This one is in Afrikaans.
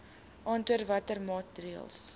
aantoon watter maatreëls